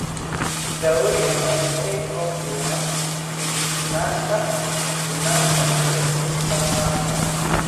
Daawooyinkani waxay kordhiyaan feejignaanta, feejignaanta, iyo tamarta.